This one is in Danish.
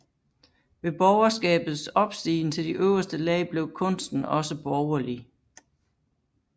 Ved borgerskabets opstigen til de øverste lag blev kunsten også borgerlig